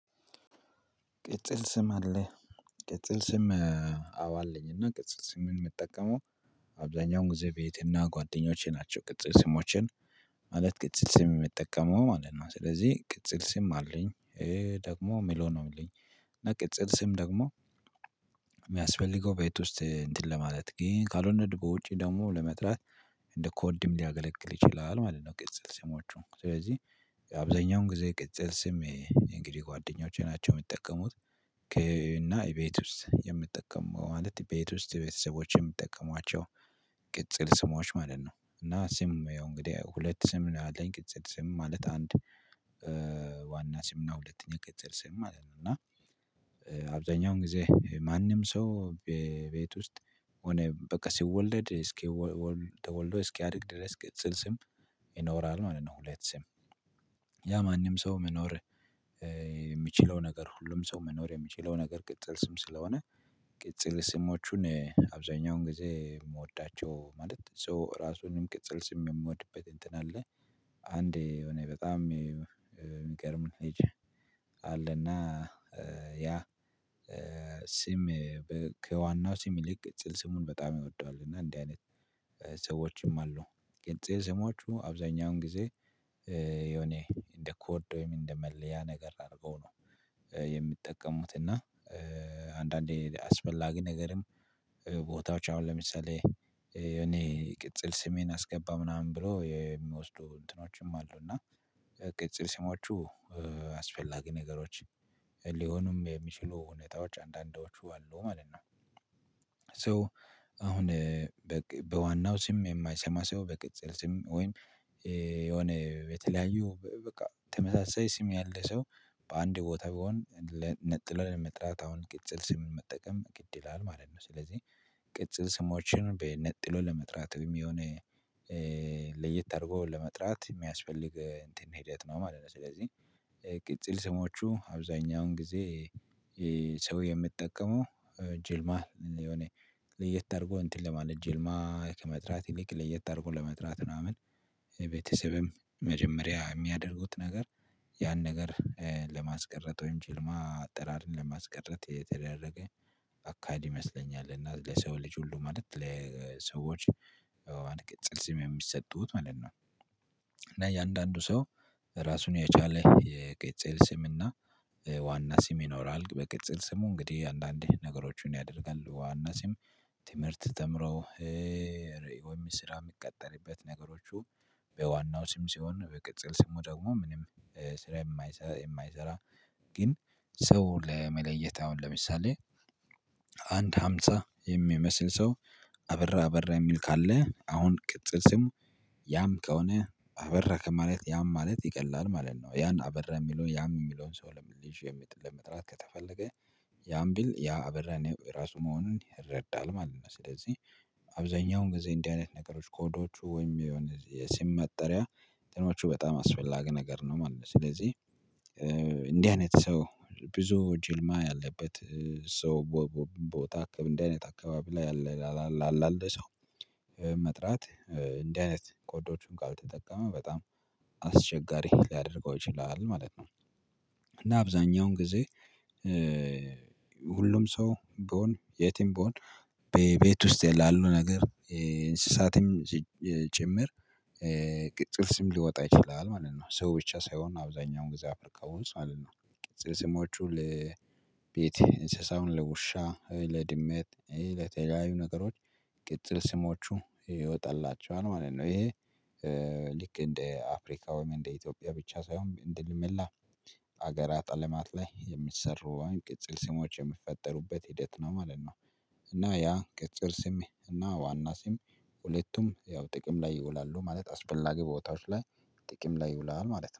ቅጽል ስም አለ ቅጽል ስም። አው አለኝ እና ቅጽል ስምን ምንጠቀመው። አብዛኛውን ጊዜ ቤትና ጓደኞቼ ናቸው ቅጽል ስሞችን። ማለት ቅጽል ስም የሚጠቀመው ማለት ነው። ስለዚህ ቅጽል ስም አለኝ። ደግሞ የሚለው ነው የሚለኝ እና ቅጽል ስም ደግሞ። የሚያስፈልገው ቤት ውስጥ እንትን ለማለት ግን ካልወነ ደሞ በውጪ ደግሞ ለመጥላት። እንደ ኮድም ሊያገለግል ይችላል ማለት ነው። ቅጽል ስሞቹ ስለዚህ አብዛኛውን ጊዜ ቅጽል ስም ይሄ እንግዲህ ጓደኞቼ ናቸው የሚጠቀሙት። እና የቤት ውስጥ የምጠቀመው ማለት የቤት ውስጥ የቤተሰቦች የምጠቀሟቸው። ቅጽል ስሞዎች ማለት ነው። እና ስም ያው እንግዲህ ሁለት ስም ምን አለኝ ቅጽል ስም ማለት አንድ። ዋና ስምና ሁለተኛ ቀጥል ስም ማለት ነው። እና አብዛኛውን ጊዜ ማንም ሰው በቤት ውስጥ ሆነ በቃ ሲወለድ እስኪ ተወልዶ እስኪ አድግ ድረስ ቅጽል ስም ይኖራል ማለት ነው። ሁለት ስም። ያ ማንም ሰው መኖር የሚችለው ነገር ሁሉም ሰው መኖር የሚችለው ነገር ቅጥል ስም ስለሆነ። ቅጥል ስሞቹን አብዛኛውን ጊዜ የምወዳቸው ማለት ሰው ራሱንም ቅጽል ስም የምወድበት እንትን አለ። አንዴ የሆነ በጣም ልጅ አለና። ያ ስም። ከዋናው ስም ይልቅ ቅጽል ስሙን በጣም ይወደዋል እና እንዲህ አይነት ሰዎችም አሉ። ቅጽል ስሞቹ አብዛኛውን ጊዜ የኔ እንደ ኮድ ወይም እንደ መለያ ነገር አድርገው ነው። የሚጠቀሙት እና አንዳንዴ አስፈላጊ ነገርም ቦታዎች አሁን ለምሳሌ እኔ ቅጽል ስሜን አስገባ ምናምን ብሎ የሚወስዱ እንትኖችም አሉ። እና ቅጽል ስሞቹ አስፈላጊ ነገሮች ሊሆኑም የሚችሉ ሁኔታዎች አንዳንዳዎቹ አሉ ማለት ነው። ሶ አሁን በዋናው ስም የማይሰማ ሰው በቅጽል ስም ወይም የሆነ የተለያዩ በቃ ተመሳሳይ ስም ያለ ሰው በአንድ ቦታ ቢሆን ነጥሎ ለመጥራት አሁን ቅጽል ስም መጠቀም ግድ ይላል ማለት ነው። ስለዚህ ቅጽል ስሞችን በነጥሎ ለመጥራት የሚሆነው ለየት አድርጎ ለመጥራት የሚያስፈልግ እንትን ሂደት ነው ማለት ነው። ስለዚህ ቅጽል ስሞቹ አብዛኛውን ጊዜ ሰው የምጠቀመው ጅልማ የሆነ ልየት አድርጎ እንትን ለማለት ጅልማ ከመጥራት ይልቅ ለየት አድርጎ ለመጥራት ምናምን ቤተሰብም መጀመሪያ የሚያደርጉት ነገር ያን ነገር ለማስቀረት ወይም ጅልማ አጠራርን ለማስቀረት የተደረገ አካሄድ ይመስለኛል። እና ለሰው ልጅ ሁሉ ማለት ለሰዎች ቅጽል ስም የሚሰጡት ማለት ነው። እና የእያንዳንዱ ሰው ራሱን የቻለ የቅጽል ስምና ዋና ስም ይኖራል። በቅጽል ስሙ እንግዲህ አንዳንዴ ነገሮችን ያደርጋል ዋና ሲም ትምህርት ተምሮ። ወይ ስራ የሚቀጠልበት ነገሮቹ በዋናው ስም ሲሆን በቅጽል ስሙ ደግሞ ምንም ስራ የማይሰራ የማይሰራ። ግን ሰው ለመለየት አሁን ለምሳሌ አንድ ሃምሳ የሚመስል ሰው አበራ አበራ የሚል ካለ አሁን ቅጽል ስሙ ያም ከሆነ አበራ ከማለት ያም ማለት ይቀላል ማለት ነው። ያን አበራ የሚለውን ያም የሚለውን ሰው ለሚል ሽያጭ ለመጥራት ከተፈለገ። ያን ቢል ያ አበራ የራሱ መሆኑን ይረዳል ማለት ነው። ስለዚህ አብዛኛውን ጊዜ እንዲህ አይነት ነገሮች ኮዶቹ ወይም የሆነ የስም መጠሪያ እንትኖቹ በጣም አስፈላጊ ነገር ነው ማለት ነው። ስለዚህ እንዲህ አይነት ሰው ብዙ ጅልማ ያለበት ሰው ቦታ አካባቢ እንደዚህ አይነት አካባቢ ላይ ያለ መጥራት እንዲህ አይነት ቆዳዎቹን ጋር ተጠቀመ በጣም አስቸጋሪ ሊያደርገው ይችላል ማለት ነው። እና አብዛኛውን ጊዜ ሁሉም ሰው ቢሆን የትም ብሆን በቤት ውስጥ የላሉ ነገር እንስሳትም ጭምር ጥርስም ሊወጣ ይችላል ማለት ነው። ሰው ብቻ ሳይሆን አብዛኛውን ጊዜ አፍቅረውን ማለት ነው። ቅጽል ስሞቹ ለቤት እንስሳውን ለውሻ ለድመት ለተለያዩ ነገሮች ቅጥር ስሞቹ ይወጣላቸዋል ማለት ነው። ይሄ ልክ እንደ አፍሪካ ወይም እንደ ኢትዮጵያ ብቻ ሳይሆን እንደ መላ መላ ሀገራት አለማት ላይ የሚሰሩ ቅጽል ስሞች የሚፈጠሩበት ሂደት ነው ማለት ነው። እና ያ ቅጥር ስሜ እና ዋና ስም ሁለቱም ያው ጥቅም ላይ ይውላሉ ማለት አስፈላጊ ቦታዎች ላይ ጥቅም ላይ ይውላል ማለት ነው